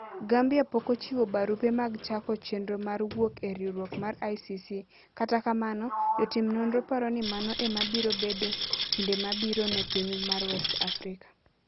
Gambia pok ochiwo barupe mag chako chenro mar wuok e riwruok mar ICC, kata kamano, jotim nonro paro ni mano ema biro bedo kinde mabiro ne piny mar West Africa.